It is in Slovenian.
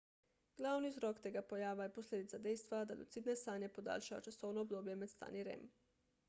glavni vzrok tega pojava je posledica dejstva da lucidne sanje podaljšajo časovno obdobje med stanji rem